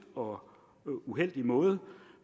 og uheldig måde